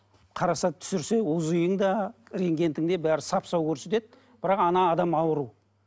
қараса түсірсе узи ің де рентгенің де бәрі сап сау көрсетеді бірақ ана адам ауру